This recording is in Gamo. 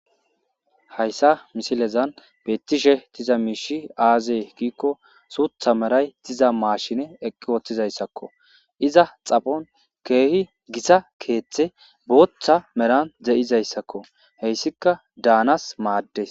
hayssa misilezan bettishe tiza miishi aazee giikko suutha meray tiza maashine eqki wooththizayssakko iza xapon keehi gisa keeththe booththa meran ze7izayssakko heyssika daanas maaddes